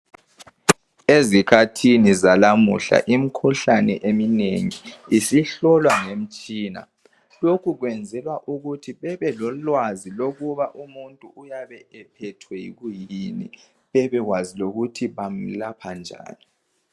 Ezikhathini zanamuhla imikhuhlane eminengi isihlolwa ngemitshina lokhu kwenzelwa ukuthi bebelolwazi lokuba umuntu uyabe ephethwe kuyini bebekwazi lokuthi bamelapha njani.